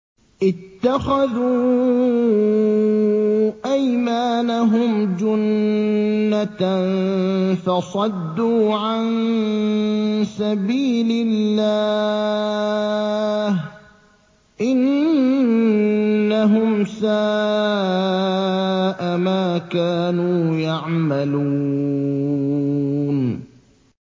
اتَّخَذُوا أَيْمَانَهُمْ جُنَّةً فَصَدُّوا عَن سَبِيلِ اللَّهِ ۚ إِنَّهُمْ سَاءَ مَا كَانُوا يَعْمَلُونَ